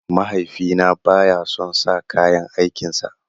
Mahaifina baya son sa kayan aikin sa.